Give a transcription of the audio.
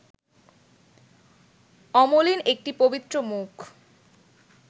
অমলিন একটি পবিত্র মুখ